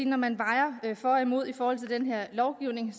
når man vejer for og imod den her lovgivning